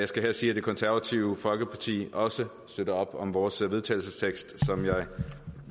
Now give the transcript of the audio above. skal her sige at det konservative folkeparti også støtter op om vores vedtagelsestekst som jeg